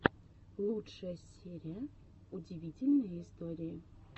лучшая серия удивительные истории